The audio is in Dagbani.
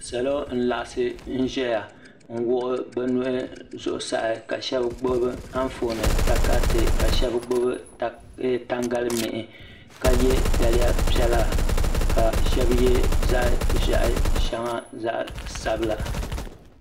Salo n laɣasi ʒɛya n wuɣi bɛ nuhi zuɣusaa ka sheba gbibi Anfooni takariti ka sheba tangalimihi ka ye daliya piɛla ka sheba ye zaɣa ʒehi sheŋa zaɣa sabila.